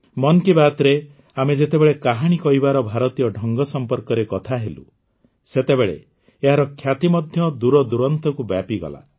ମନ୍ କି ବାତ୍ରେ ଆମେ ଯେତେବେଳେ କାହାଣୀ କହିବାର ଭାରତୀୟ ଢଙ୍ଗ ସମ୍ପର୍କରେ କଥା ହେଲୁ ସେତେବେଳେ ଏହାର ଖ୍ୟାତି ମଧ୍ୟ ଦୂରଦୂରାନ୍ତକୁ ବ୍ୟାପିଗଲା